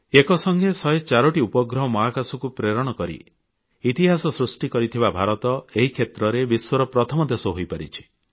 ଏକସଙ୍ଗେ 104 ଟି ଉପଗ୍ରହ ମହାକାଶକୁ ପ୍ରେରଣ କରି ଇତିହାସ ସୃଷ୍ଟି କରିଥିବା ଭାରତ ଏହି କ୍ଷେତ୍ରରେ ବିଶ୍ୱର ପ୍ରଥମ ଦେଶ ହୋଇପାରିଛି